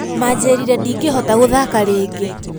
Manjirire ndingĩhota gũthaka rĩngĩ.